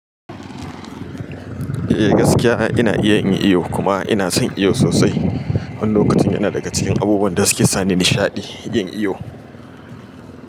Eh gaskiya ina iya yin iyo kuma ina son iyo sosai. Wani lokacin yana daga cikin abubuwan da suke sani nishaɗi yin iyo.